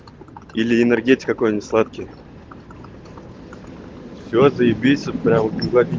или энергетик какой-нибудь сладкий все заибись вот прям